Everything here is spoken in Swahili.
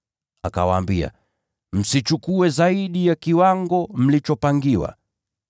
Akawaambia, “Msichukue zaidi ya kiwango mlichopangiwa.”